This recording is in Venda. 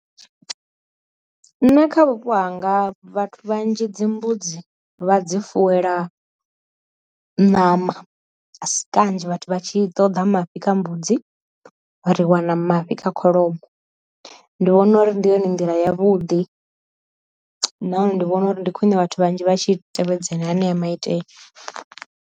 Nṋe kha vhupo hanga vhathu vhanzhi dzi mbudzi vha dzi fuwela ṋama, a si kanzhi vhathu vha tshi ṱoḓa mafhi kha mbudzi ri wana mafhi kha kholomo. Ndi vhona uri ndi yone nḓila ya vhuḓi nahone ndi vhona uri ndi khwine vhathu vhanzhi vhatshi tevhedzela aneya maitele.